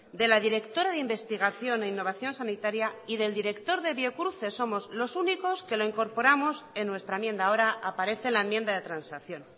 de la directora de investigación e innovación sanitaria y del director de biocruces somos los únicos que lo incorporamos en nuestra enmienda ahora aparece la enmienda de transacción